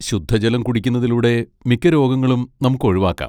ശുദ്ധജലം കുടിക്കുന്നതിലൂടെ മിക്ക രോഗങ്ങളും നമുക്ക് ഒഴിവാക്കാം.